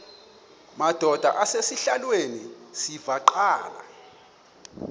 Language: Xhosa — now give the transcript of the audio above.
madod asesihialweni sivaqal